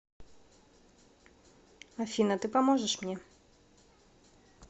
афина ты поможешь мне